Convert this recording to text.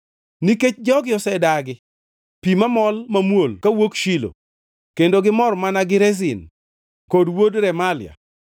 “Nikech jogi osedagi, pi mamol mamuol kawuok Shilo, kendo gi mor mana gi Rezin kod wuod Remalia,